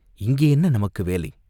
இங்கே என்ன நமக்கு வேலை?